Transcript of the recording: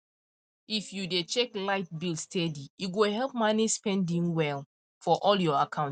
if you dey check light bill steady e go help manage spending well for all your account